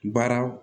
Baara